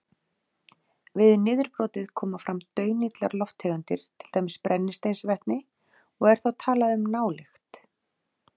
Við niðurbrotið koma fram daunillar lofttegundir til dæmis brennisteinsvetni og er þá talað um nálykt.